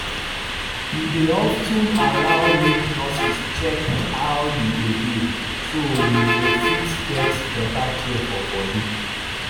you dey of ten allow make nurses check how you dey heal so you go fit get better care for body